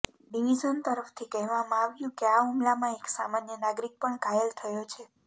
division તરફથી કહેવામાં આવ્યું કે આ હુમલામાં એક સામાન્ય નાગરિક પણ ઘાયલ થયો છે